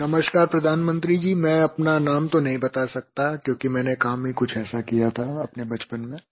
नमस्कार प्रधानमंत्री जी मैं अपना नाम तो नहीं बता सकता क्योंकि मैंने काम ही कुछ ऐसा किया था अपने बचपन में